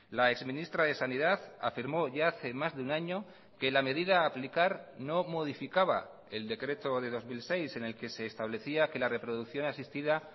la ex ministra de sanidad afirmó ya hace más de un año que la medida a aplicar no modificaba el decreto de dos mil seis en el que se establecía que la reproducción asistida